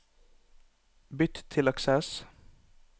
Bytt til Access